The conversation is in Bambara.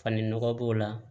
Fani nɔgɔ b'o la